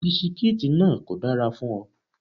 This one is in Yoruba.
Bisikítì náà kò dára fún ọ.